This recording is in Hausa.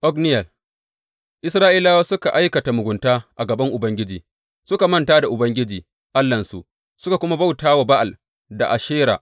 Otniyel Isra’ilawa suka aikata mugunta a gaban Ubangiji; suka manta da Ubangiji Allahnsu suka kuma bauta wa Ba’al da Ashera.